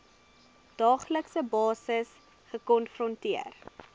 daaglikse basis gekonfronteer